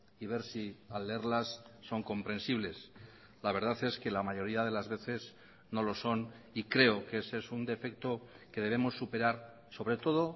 y ver si al leerlas son comprensibles la verdad es que la mayoría de las veces no lo son y creo que ese es un defecto que debemos superar sobre todo